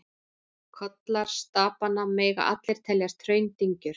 Kollar stapanna mega allir teljast hraundyngjur.